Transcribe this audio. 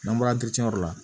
N'an bɔra yɔrɔ la